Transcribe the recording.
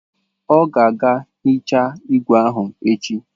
Ọ ga-aga hichaa igwe ahụ echi.